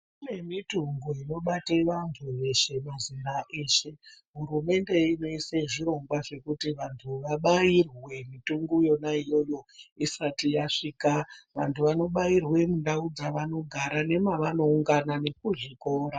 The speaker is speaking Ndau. Kune mitungo inobate vantu veshe, mazera eshe. Hurumende inoise zvirongwa zvekuti vantu veshe vabairwe mitungo yona iyoyo isati yasvika. Vantu vanobairwa mundau dzavanogara nemavanoungana nekuzvikora.